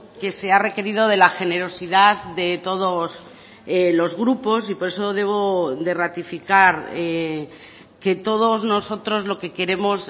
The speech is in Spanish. que se ha requerido de la generosidad de todos los grupos y por eso debo de ratificar que todos nosotros lo que queremos